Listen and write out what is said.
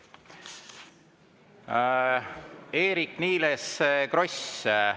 Eerik-Niiles Kross.